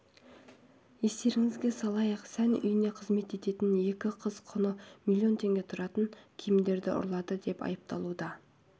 естеріңізге салайық сән үйінде қызмет ететін екі қыз құны миллион теңге тұратын киімді ұрлады деп айыпталуда